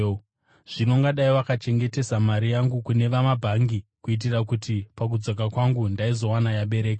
Zvino ungadai wakachengetesa mari yangu kune vamabhangi kuitira kuti pakudzoka kwangu ndaizoiwana yabereka.